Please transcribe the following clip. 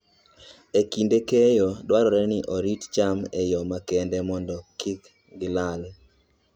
E kinde keyo, dwarore ni orit cham e yo makende mondo kik gilal